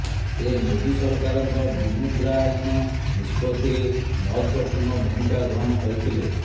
ସେ ମୋଦି ସରକାରଙ୍କ ବିମୁଦ୍ରାୟନ ନିଷ୍ପତ୍ତିରେ ମହତ୍ବପୂର୍ଣ୍ଣ ଭୂମିକା ଗ୍ରହଣ କରିଥିଲେ